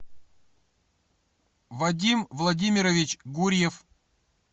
вадим владимирович гурьев